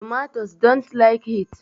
Tomatoes dont like heat